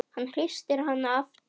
Hann hristir hana aftur.